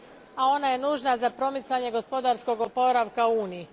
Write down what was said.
A ona je nužna za promicanje gospodarskoga oporavka u Uniji.